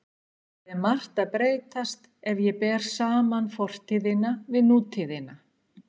Það er margt að breytast ef ég ber saman fortíðina við nútíðina.